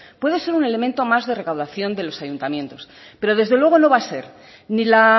puede ser un elemento más de recaudación de los ayuntamientos pero desde luego no va a ser ni la